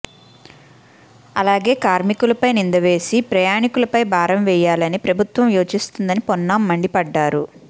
అలాగే కార్మికులపై నిందవేసి ప్రయాణీకులపై భారం వెయ్యాలని ప్రభుత్వం యోచిస్తోందని పొన్నం మండిపడ్డారు